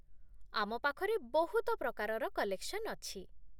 ଆମ ପାଖରେ ବହୁତ ପ୍ରକାରର କଲେକ୍ସନ୍ ଅଛି ।